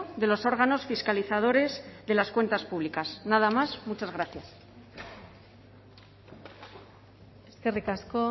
de los órganos fiscalizadores de las cuentas públicas nada más muchas gracias eskerrik asko